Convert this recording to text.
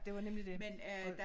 Det var nemlig det og